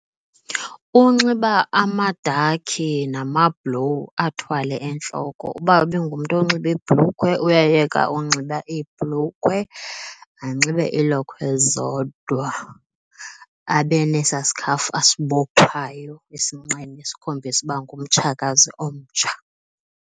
Unxiba amadakhi namablowu athwale entloko, uba ibingumntu onxiba iibhrukhwe uyayeka unxiba iibhulukhwe anxibe iilokhwe zodwa abe nesaa sikhafu asibophayo esinqeni esikhombisa uba ngumtshakazi omtsha.